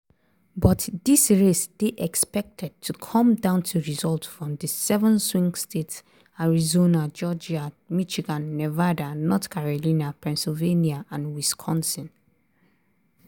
but dis race dey expected to come down to results from di seven swing states - arizona georgia michigan nevada north carolina pennsylvania and wisconsin.